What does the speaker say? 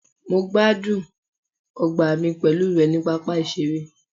mo gbádùn ọgbà mi pẹlu rẹ ni papa iṣere